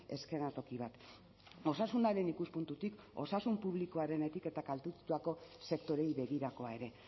eskenatoki bat osasunaren ikuspuntutik osasun publikoarenetik eta kaltetutako sektoreei begirakoa ere